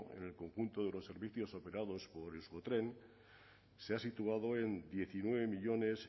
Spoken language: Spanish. en el conjunto de los servicios operados por euskotren se ha situado en diecinueve millónes